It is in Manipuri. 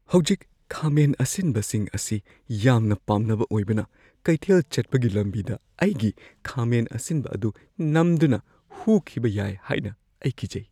ꯍꯧꯖꯤꯛ ꯈꯥꯃꯦꯟ ꯑꯁꯤꯟꯕꯁꯤꯡ ꯑꯁꯤ ꯌꯥꯝꯅ ꯄꯥꯝꯅꯕ ꯑꯣꯏꯕꯅ, ꯀꯩꯊꯦꯜ ꯆꯠꯄꯒꯤ ꯂꯝꯕꯤꯗ ꯑꯩꯒꯤ ꯈꯥꯃꯦꯟ ꯑꯁꯤꯟꯕ ꯑꯗꯨ ꯅꯝꯗꯨꯅ ꯍꯨꯈꯤꯕ ꯌꯥꯏ ꯍꯥꯏꯅ ꯑꯩ ꯀꯤꯖꯩ꯫